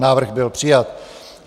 Návrh byl přijat.